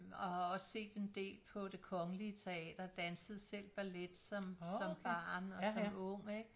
Og har også set en del på Det Kongelig Teater dansede selv ballet som som barn og som ung ikke